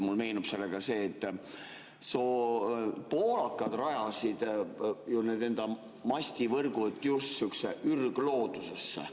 Mulle meenus sellega seoses see, et poolakad rajasid enda mastivõrgud just sihukesse ürgloodusesse.